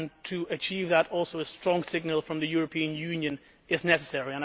To achieve that, a strong signal from the European Union is also necessary.